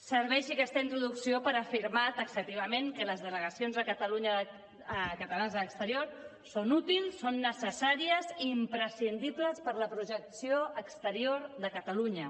serveixi aquesta introducció per afirmar taxativament que les delegacions catalanes a l’exterior són útils són necessàries i imprescindibles per a la projecció exterior de catalunya